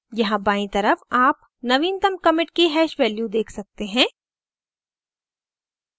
यहाँ बायीं तरफ आप नवीनतम commit की hash value देख सकते हैं